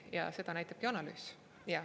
Ja seda näitabki analüüs.